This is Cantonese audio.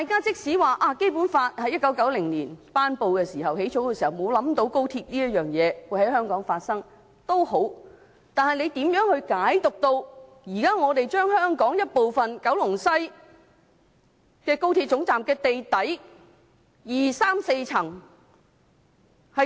儘管《基本法》在1990年頒布時沒有考慮到高鐵會在香港發展，但是，你如何能理解現在可以把香港的一部分，即高鐵西九龍站地底第二、三、四層劃出？